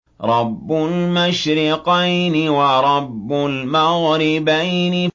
رَبُّ الْمَشْرِقَيْنِ وَرَبُّ الْمَغْرِبَيْنِ